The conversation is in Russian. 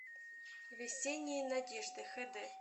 весенние надежды хд